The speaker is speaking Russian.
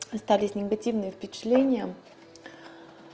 остались негативные впечатления